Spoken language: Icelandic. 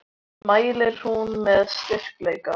Orð sín mælir hún með styrkleika.